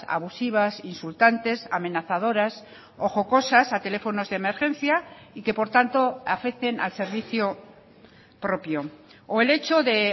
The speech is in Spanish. abusivas insultantes amenazadoras o jocosas a teléfonos de emergencia y que por tanto afecten al servicio propio o el hecho de